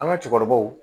An ka cɛkɔrɔbaw